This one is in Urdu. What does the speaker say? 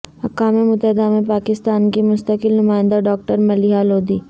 اقوام متحدہ میں پاکستان کی مستقل نمائندہ ڈاکٹر ملیحہ لودھی